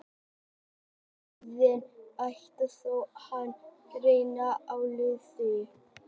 Hann er orðinn æstur þó að hann reyni að leyna því.